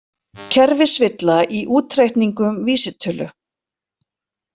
Kerfisvilla í útreikningum vísitölu